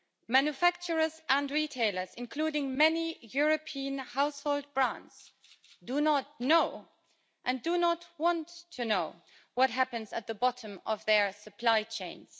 Manufacturers and retailers, including many European household brands, do not know and do not want to know what happens at the bottom of their supply chains.